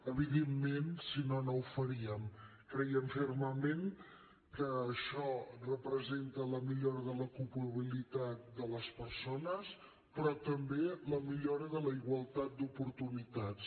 evidentment si no no ho faríem creiem fermament que això representa la millora de l’ocupabilitat de les persones però també la millora de la igualtat d’oportunitats